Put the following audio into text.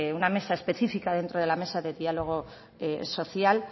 una mesa especifica dentro de la mesa de diálogo social